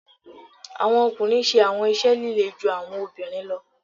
Awọn ọkunrin ṣe awọn iṣẹ lile ju awọn obinrin lọ